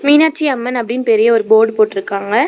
மீனாட்சி அம்மன் அப்படினு பெரிய ஒரு போர்ட் போட்ருக்காங்க.